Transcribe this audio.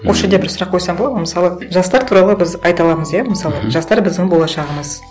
осы жерде бір сұрақ қойсам болады ма мысалы жастар туралы біз айта аламыз иә мысалы жастар біздің болашағымыз